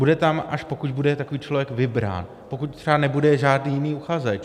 Bude tam, až pokud bude takový člověk vybrán, pokud třeba nebude žádný jiný uchazeč.